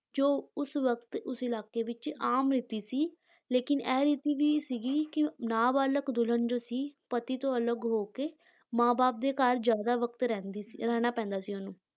ਜੋ ਉਸ ਵਕਤ ਉਸ ਇਲਾਕੇ ਵਿੱਚ ਆਮ ਰੀਤੀ ਸੀ ਲੇਕਿੰਨ ਇਹ ਰੀਤ ਵੀ ਸੀਗੀ ਕਿ ਨਾਬਾਲਗ਼ ਦੁਲਹਨ ਜੋ ਸੀ, ਪਤੀ ਤੋਂ ਅਲੱਗ ਹੋ ਕੇ ਮਾਂ-ਬਾਪ ਦੇ ਘਰ ਜ਼ਿਆਦਾ ਵਕਤ ਰਹਿੰਦੀ ਸੀ, ਰਹਿਣਾ ਪੈਂਦਾ ਸੀ ਉਹਨੂੰ।